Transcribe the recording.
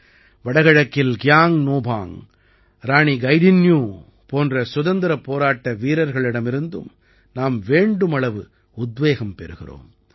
வடகிழக்கில் கியாங்க் நோபாங்க் ராணி கைதின்யூ போன்ற சுதந்திரப் போராட்ட வீரர்களிடமிருந்தும் நாம் வேண்டுமளவு உத்வேகம் பெறுகிறோம்